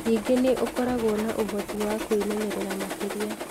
Ningĩ nĩ ũkoragwo na ũhoti wa kwĩmenyerera makĩria.